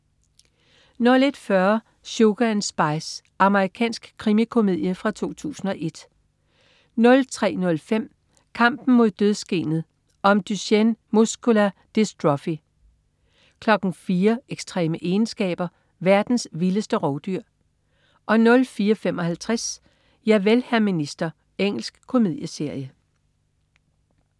01.40 Sugar & Spice. Amerikansk krimikomedie fra 2001 03.05 Kampen mod dødsgenet. Om Duchenne Muscular Dystrophy 04.00 Ekstreme egenskaber. Verdens vildeste rovdyr 04.55 Javel, hr. minister. Engelsk komedieserie